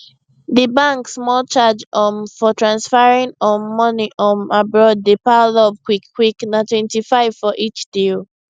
di bank small charge um for transferring um money um abroad dey pile up quickquick na 25 for each deal